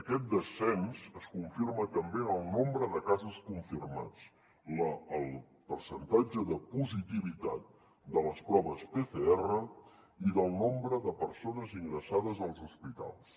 aquest descens es confirma també en el nombre de casos confirmats el percentatge de positivitat de les proves pcr i del nombre de persones ingressades als hospitals